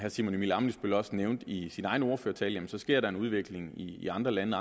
simon emil ammitzbøll også nævnte i sin egen ordførertale at der sker en udvikling i andre lande